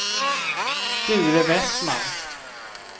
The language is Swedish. Sture Westman